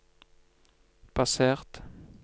basert